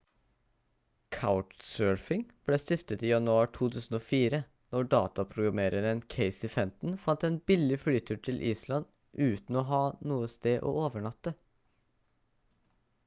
couchsurfing ble stiftet i januar 2004 når dataprogrammereren casey fenton fant en billig flytur til island uten å ha noe sted å overnatte